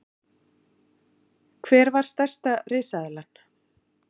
Hver var stærsta risaeðlan?